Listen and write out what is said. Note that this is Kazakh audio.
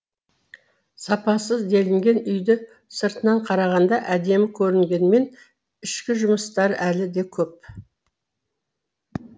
сапасыз делінген үйді сыртынан қарағанда әдемі көрінгенімен ішкі жұмыстары әлі де көп